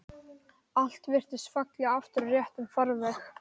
Allt virtist falla aftur í réttan farveg.